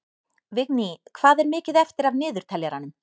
Vigný, hvað er mikið eftir af niðurteljaranum?